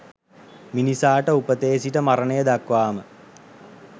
මිනිසාට උපතේ සිට මරණය දක්වාම